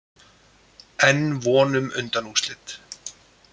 Enn von um undanúrslit